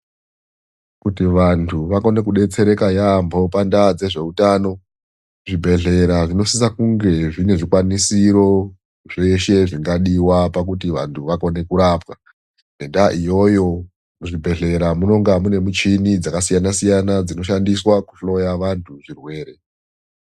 Kuti vantu vakone kudetsereka yaamho pandaa dzezveutano zvibhedhlera zvinosise kunge zvine zvikwanisiro zveshe zvingadiwa pakuti vantu vakone kurapwa. Ngendaa iyoyo muzvibhedhlera munonga mune muchini dzakasiyana-siyana dzinoshandiswa kuhloya vantu zvirwere.